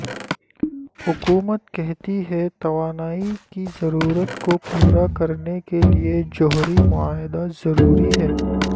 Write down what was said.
حکومت کہتی ہے توانائی کی ضرورت کو پورا کرنےکے لیے جوہری معاہدہ ضروری ہے